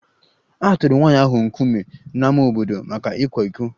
A tụrụ nwanyị ahụ nkume n'ámá obodo maka ịkwa iko